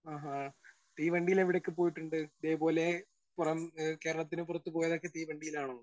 Speaker 1 ആഹാ തീവണ്ടിയിൽ എവിടെയൊക്കെ പോയിട്ടുണ്ട്. ദേ പോലെ പുറം ആ കേരളത്തിന് പുറത്ത് പോയതൊക്കെ തീവണ്ടിയിലാണോ?